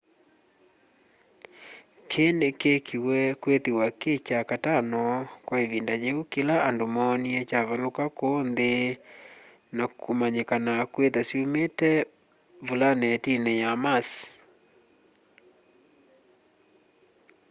kĩĩ nĩkĩĩkĩĩwe kwĩthĩwa kĩ kya katano kwa ĩvinda yĩũ kĩla andũ moonĩe kyavalũka kũũ nthĩ nakũmanyĩkana kwĩtha syũmite vũlanetinĩ ya mars